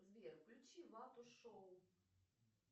сбер включи вату шоу